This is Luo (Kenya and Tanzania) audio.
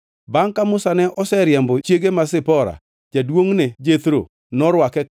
Bangʼ ka Musa ne oseriembo chiege ma Zipora, jaduongʼne Jethro norwake